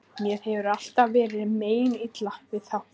Mér hefur alltaf verið meinilla við þá.